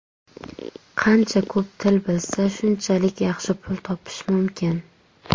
Qancha ko‘p til bilsa, shunchalik yaxshi pul topish mumkin.